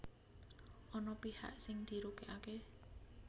Ana pihak sing dirugèkaké